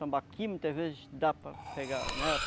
Tambaquim, muitas vezes dá para pegar, né?